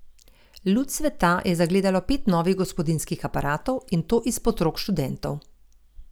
Luč sveta je zagledalo pet novih gospodinjskih aparatov, in to izpod rok študentov.